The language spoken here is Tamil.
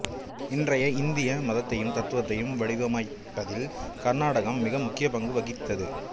இன்றைய இந்திய மதத்தையும் தத்துவத்தையும் வடிவமைப்பதில் கர்நாடகம் மிக முக்கிய பங்கு வகித்தது